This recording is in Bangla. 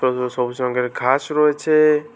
ছোট ছোট সবুজ রঙ্গের ঘাস রয়েছে।